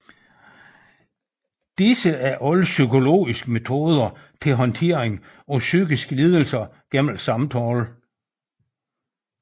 Disse er alle psykologiske metoder til håndtering af psykiske lidelser gennem samtale